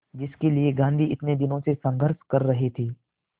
जिसके लिए गांधी इतने दिनों से संघर्ष कर रहे थे